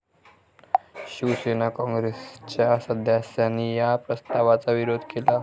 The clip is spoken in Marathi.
शिवसेना, काँग्रेसच्या सदस्यांनी या प्रस्तावाचा विरोध केला.